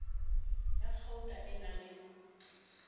ya kgauta e na le